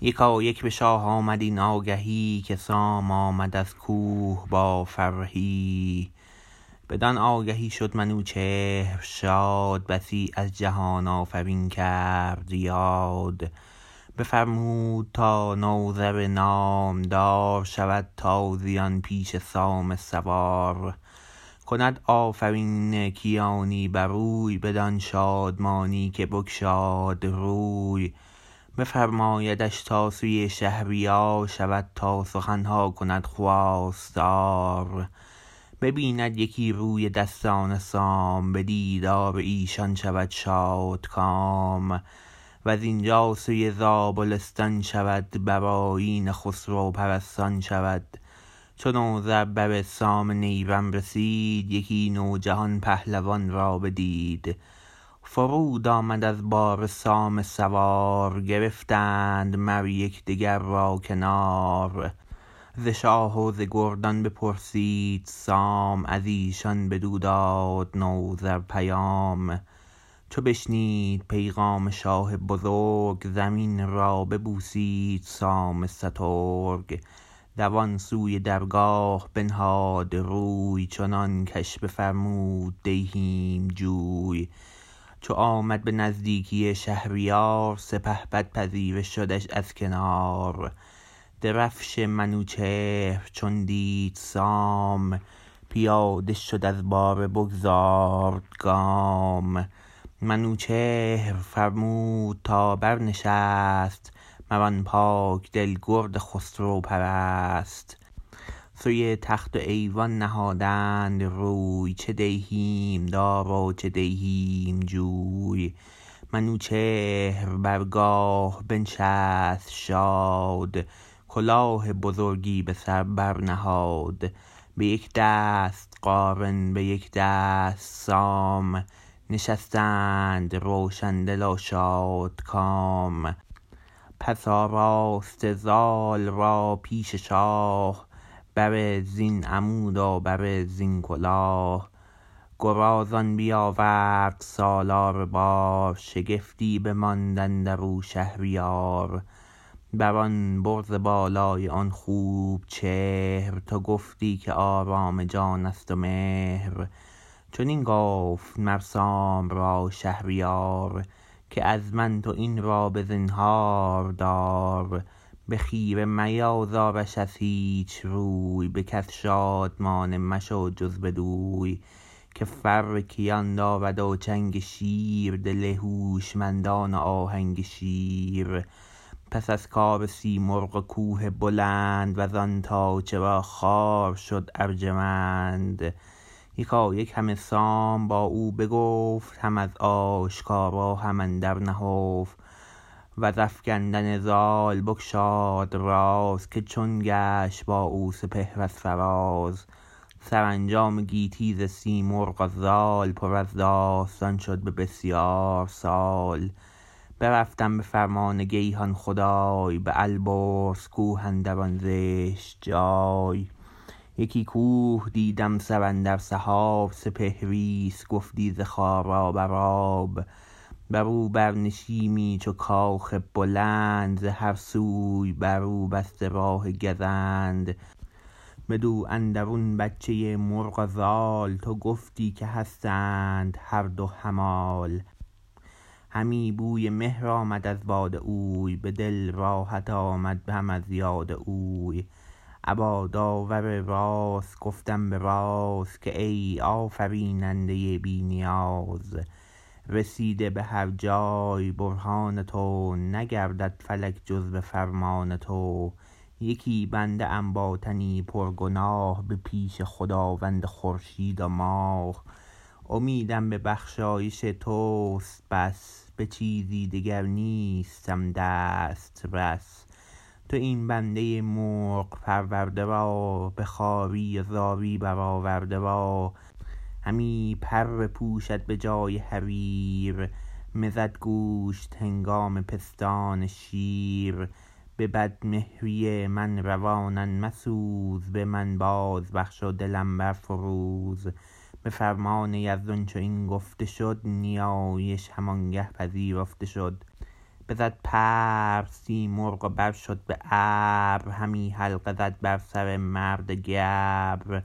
یکایک به شاه آمد این آگهی که سام آمد از کوه با فرهی بدان آگهی شد منوچهر شاد بسی از جهان آفرین کرد یاد بفرمود تا نوذر نامدار شود تازیان پیش سام سوار کند آفرین کیانی بر اوی بدان شادمانی که بگشاد روی بفرمایدش تا سوی شهریار شود تا سخن ها کند خواستار ببیند یکی روی دستان سام به دیدار ایشان شود شادکام و زین جا سوی زابلستان شود بر آیین خسرو پرستان شود چو نوذر بر سام نیرم رسید یکی نو جهان پهلوان را بدید فرود آمد از باره سام سوار گرفتند مر یک دگر را کنار ز شاه و ز گردان بپرسید سام از ایشان بدو داد نوذر پیام چو بشنید پیغام شاه بزرگ زمین را ببوسید سام سترگ دوان سوی درگاه بنهاد روی چنان کش بفرمود دیهیم جوی چو آمد به نزدیکی شهریار سپهبد پذیره شدش از کنار درفش منوچهر چون دید سام پیاده شد از باره بگذارد گام منوچهر فرمود تا برنشست مر آن پاک دل گرد خسرو پرست سوی تخت و ایوان نهادند روی چه دیهیم دار و چه دیهیم جوی منوچهر برگاه بنشست شاد کلاه بزرگی به سر برنهاد به یک دست قارن به یک دست سام نشستند روشن دل و شادکام پس آراسته زال را پیش شاه به زرین عمود و به رزین کلاه گرازان بیاورد سالار بار شگفتی بماند اندر او شهریار بر آن برز بالای آن خوب چهر تو گفتی که آرام جان است و مهر چنین گفت مر سام را شهریار که از من تو این را به زنهاردار به خیره میازارش از هیچ روی به کس شادمانه مشو جز بدوی که فر کیان دارد و چنگ شیر دل هوشمندان و آهنگ شیر پس از کار سیمرغ و کوه بلند و زان تا چرا خوار شد ارجمند یکایک همه سام با او بگفت هم از آشکارا هم اندر نهفت و ز افگندن زال بگشاد راز که چون گشت با او سپهر از فراز سرانجام گیتی ز سیمرغ و زال پر از داستان شد به بسیار سال برفتم به فرمان گیهان خدای به البرز کوه اندر آن زشت جای یکی کوه دیدم سر اندر سحاب سپهری است گفتی ز خارا بر آب برو بر نشیمی چو کاخ بلند ز هر سوی بر او بسته راه گزند بدو اندرون بچه مرغ و زال تو گفتی که هستند هر دو همال همی بوی مهر آمد از باد اوی به دل راحت آمد هم از یاد اوی ابا داور راست گفتم به راز که ای آفریننده بی نیاز رسیده به هر جای برهان تو نگردد فلک جز به فرمان تو یکی بنده ام با تنی پر گناه به پیش خداوند خورشید و ماه امیدم به بخشایش تو است بس به چیزی دگر نیستم دسترس تو این بنده مرغ پرورده را به خواری و زاری برآورده را همی پر پوشد به جای حریر مزد گوشت هنگام پستان شیر به بد مهری من روانم مسوز به من باز بخش و دلم بر فروز به فرمان یزدان چو این گفته شد نیایش همانگه پذیرفته شد بزد پر سیمرغ و بر شد به ابر همی حلقه زد بر سر مرد گبر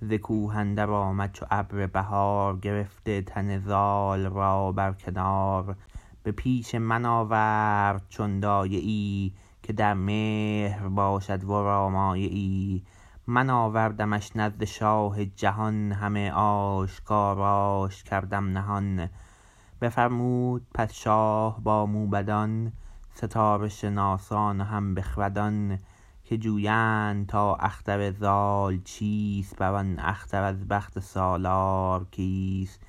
ز کوه اندر آمد چو ابر بهار گرفته تن زال را بر کنار به پیش من آورد چون دایه ای که در مهر باشد ورا مایه ای من آوردمش نزد شاه جهان همه آشکاراش کردم نهان بفرمود پس شاه با موبدان ستاره شناسان و هم بخردان که جویند تا اختر زال چیست بر آن اختر از بخت سالار کیست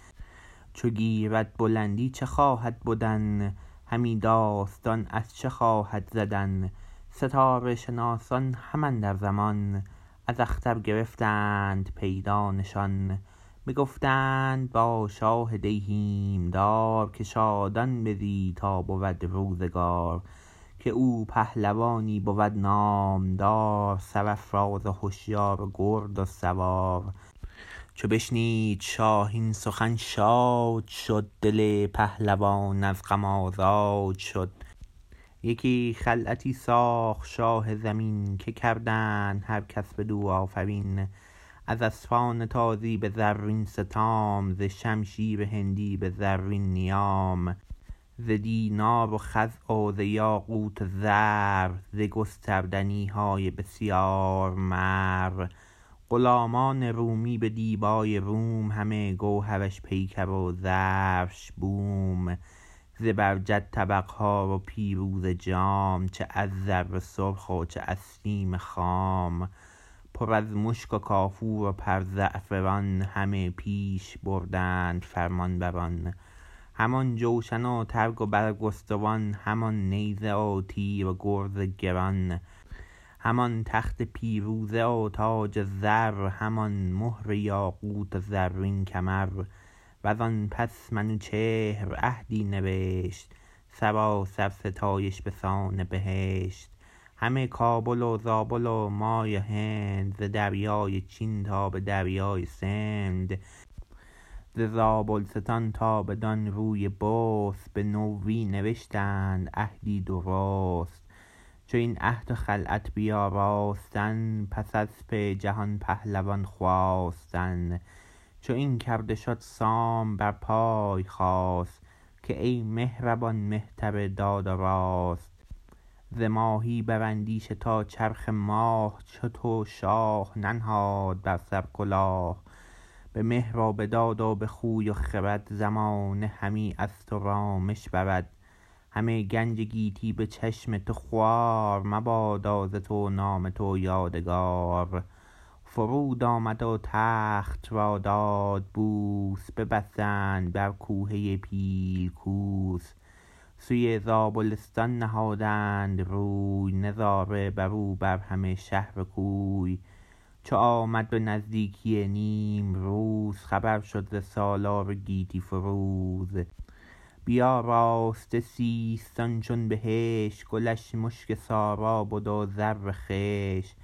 چو گیرد بلندی چه خواهد بدن همی داستان از چه خواهد زدن ستاره شناسان هم اندر زمان از اختر گرفتند پیدا نشان بگفتند با شاه دیهیم دار که شادان بزی تا بود روزگار که او پهلوانی بود نامدار سرافراز و هشیار و گرد و سوار چو بشنید شاه این سخن شاد شد دل پهلوان از غم آزاد شد یکی خلعتی ساخت شاه زمین که کردند هر کس بدو آفرین از اسپان تازی به زرین ستام ز شمشیر هندی به زرین نیام ز دینار و خز و ز یاقوت و زر ز گستردنی های بسیار مر غلامان رومی به دیبای روم همه گوهرش پیکر و زرش بوم زبرجد طبق ها و پیروزه جام چه از زر سرخ و چه از سیم خام پر از مشک و کافور و پر زعفران همه پیش بردند فرمان بران همان جوشن و ترگ و برگستوان همان نیزه و تیر و گرز گران همان تخت پیروزه و تاج زر همان مهر یاقوت و زرین کمر و زان پس منوچهر عهدی نوشت سراسر ستایش به سان بهشت همه کابل و زابل و مای و هند ز دریای چین تا به دریای سند ز زابلستان تا بدان روی بست به نوی نوشتند عهدی درست چو این عهد و خلعت بیاراستند پس اسپ جهان پهلوان خواستند چو این کرده شد سام بر پای خاست که ای مهربان مهتر داد و راست ز ماهی بر اندیشه تا چرخ ماه چو تو شاه ننهاد بر سر کلاه به مهر و به داد و به خوی و خرد زمانه همی از تو رامش برد همه گنج گیتی به چشم تو خوار مبادا ز تو نام تو یادگار فرود آمد و تخت را داد بوس ببستند بر کوهه پیل کوس سوی زابلستان نهادند روی نظاره بر او بر همه شهر و کوی چو آمد به نزدیکی نیمروز خبر شد ز سالار گیتی فروز بیاراسته سیستان چون بهشت گلش مشک سارا بد و زر خشت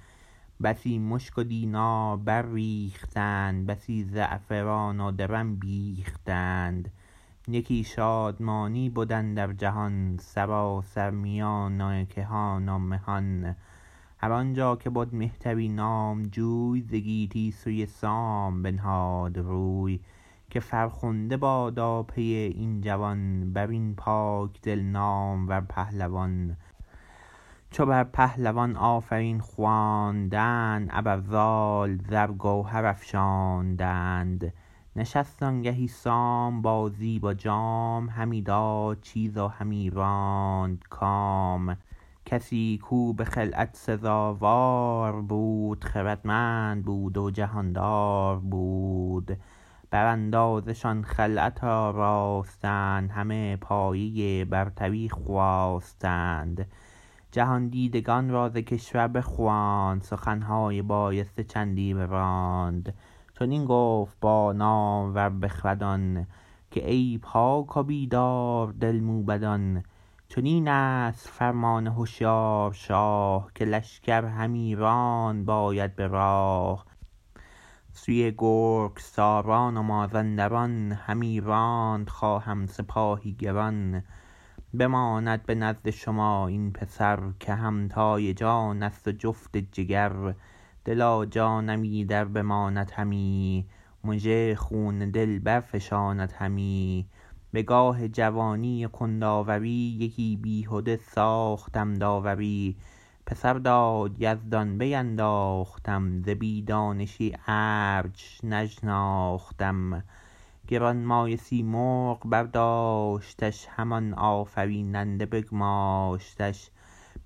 بسی مشک و دینار بر ریختند بسی زعفران و درم بیختند یکی شادمانی بد اندر جهان سراسر میان کهان و مهان هر آن جا که بد مهتری نامجوی ز گیتی سوی سام بنهاد روی که فرخنده بادا پی این جوان بر این پاک دل نامور پهلوان چو بر پهلوان آفرین خواندند ابر زال زر گوهر افشاندند نشست آنگهی سام با زیب و جام همی داد چیز و همی راند کام کسی کو به خلعت سزاوار بود خردمند بود و جهاندار بود براندازه شان خلعت آراستند همه پایه برتری خواستند جهاندیدگان را ز کشور بخواند سخن های بایسته چندی براند چنین گفت با نامور بخردان که ای پاک و بیدار دل موبدان چنین است فرمان هشیار شاه که لشکر همی راند باید به راه سوی گرگساران و مازندران همی راند خواهم سپاهی گران بماند به نزد شما این پسر که همتای جان است و جفت جگر دل و جانم ایدر بماند همی مژه خون دل برفشاند همی به گاه جوانی و کند آوری یکی بیهده ساختم داوری پسر داد یزدان بیانداختم ز بی دانشی ارج نشناختم گرانمایه سیمرغ برداشتش همان آفریننده بگماشتش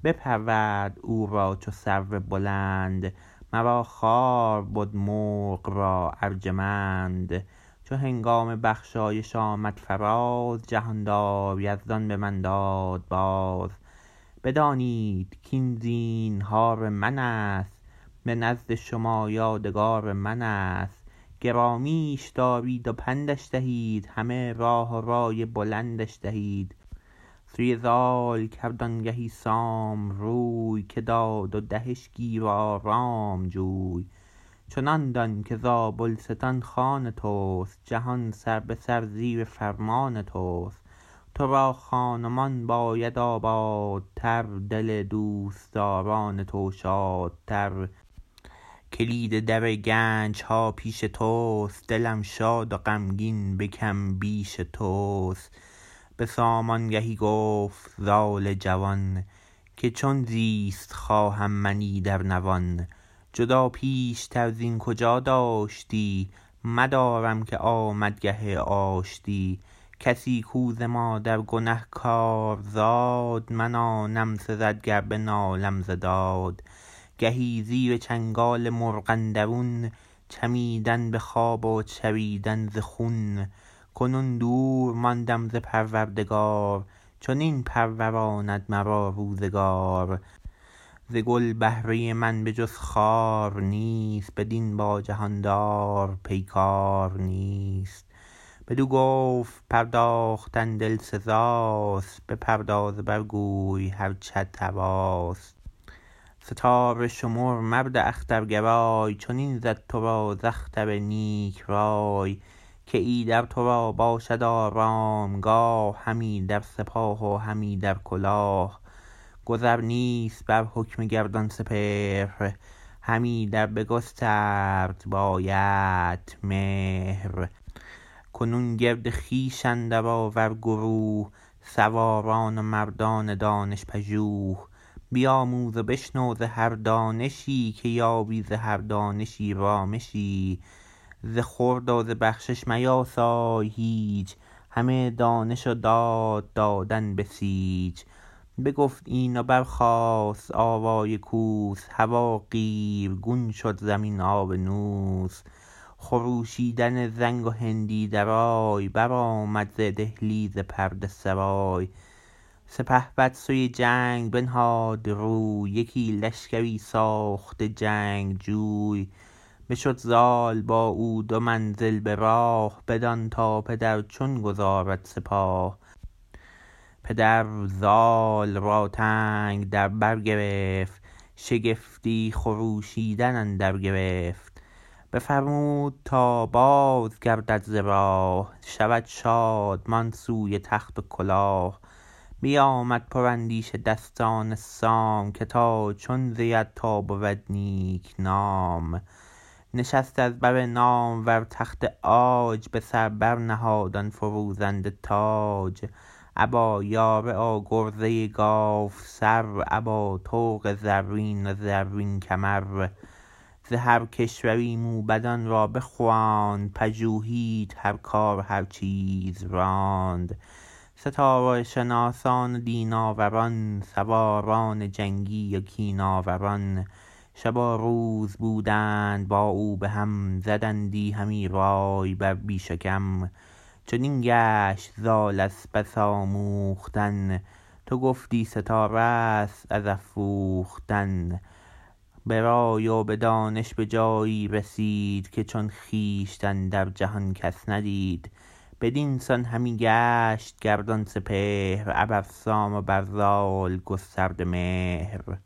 بپرورد او را چو سرو بلند مرا خوار بد مرغ را ارجمند چو هنگام بخشایش آمد فراز جهاندار یزدان به من داد باز بدانید کاین زینهار من است به نزد شما یادگار من است گرامیش دارید و پندش دهید همه راه و رای بلندش دهید سوی زال کرد آنگهی سام روی که داد و دهش گیر و آرام جوی چنان دان که زابلستان خان تست جهان سر به سر زیر فرمان تست تو را خان و مان باید آبادتر دل دوستداران تو شادتر کلید در گنج ها پیش تو است دلم شاد و غمگین به کم بیش تو است به سام آنگهی گفت زال جوان که چون زیست خواهم من ایدر نوان جدا پیش تر زین کجا داشتی مدارم که آمد گه آشتی کسی کو ز مادر گنه کار زاد من آنم سزد گر بنالم ز داد گهی زیر چنگال مرغ اندرون چمیدن به خاک و چریدن ز خون کنون دور ماندم ز پروردگار چنین پروراند مرا روزگار ز گل بهره من به جز خار نیست بدین با جهاندار پیگار نیست بدو گفت پرداختن دل سزاست بپرداز و بر گوی هرچت هواست ستاره شمر مرد اخترگرای چنین زد تو را ز اختر نیک رای که ایدر تو را باشد آرامگاه هم ایدر سپاه و هم ایدر کلاه گذر نیست بر حکم گردان سپهر هم ایدر بگسترد بایدت مهر کنون گرد خویش اندر آور گروه سواران و مردان دانش پژوه بیاموز و بشنو ز هر دانشی که یابی ز هر دانشی رامشی ز خورد و ز بخشش میاسای هیچ همه دانش و داد دادن بسیچ بگفت این و برخاست آوای کوس هوا قیرگون شد زمین آبنوس خروشیدن زنگ و هندی درای برآمد ز دهلیز پرده سرای سپهبد سوی جنگ بنهاد روی یکی لشکری ساخته جنگجوی بشد زال با او دو منزل به راه بدان تا پدر چون گذارد سپاه پدر زال را تنگ در برگرفت شگفتی خروشیدن اندر گرفت بفرمود تا بازگردد ز راه شود شادمان سوی تخت و کلاه بیامد پر اندیشه دستان سام که تا چون زید تا بود نیک نام نشست از بر نامور تخت عاج به سر بر نهاد آن فروزنده تاج ابا یاره و گرزه گاو سر ابا طوق زرین و زرین کمر ز هر کشوری موبدان را بخواند پژوهید هر کار و هر چیز راند ستاره شناسان و دین آوران سواران جنگی و کین آوران شب و روز بودند با او به هم زدندی همی رای بر بیش و کم چنان گشت زال از بس آموختن تو گفتی ستاره است از افروختن به رای و به دانش به جایی رسید که چون خویشتن در جهان کس ندید بدین سان همی گشت گردان سپهر ابر سام و بر زال گسترده مهر